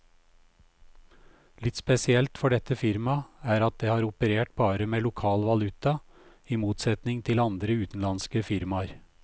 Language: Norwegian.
Litt spesielt for dette firmaet er at det har operert bare med lokal valuta, i motsetning til andre utenlandske firmaer.